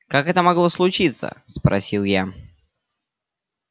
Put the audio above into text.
как это могло случиться спросил я